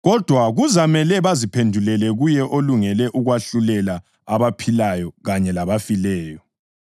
Kodwa kuzamela baziphendulele kuye olungele ukwahlulela abaphilayo kanye labafileyo.